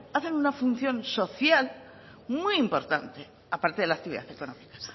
hacen una función social muy importante aparte de la actividad económica